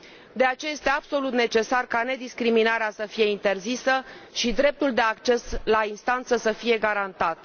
De aceea, este absolut necesar ca discriminarea să fie interzisă și dreptul de acces la instanță să fie garantat.